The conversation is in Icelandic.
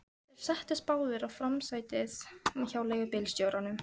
Þeir settust báðir í framsætið hjá leigubílstjóranum.